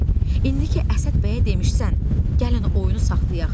Oqtay, indi ki Əsəd bəyə demisən, gəlin oyunu saxlayaq.